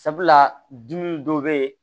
Sabula dimi dɔ be yen